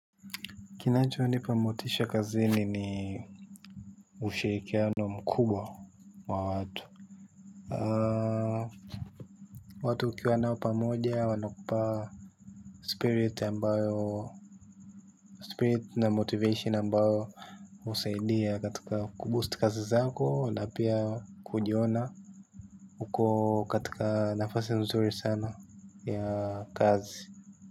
Kinacho nipamotisha kazini ni ushirikiano mkubwa wa watu. Watu ukiwa nao pamoja wanakupa spirit na motivation ambayo usaidia katika kuboosti kazi zako na pia kujiona uko katika nafasi nzuri sana ya kazi.